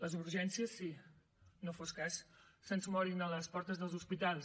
les urgències sí no fos cas que se’ns morin a les portes dels hospitals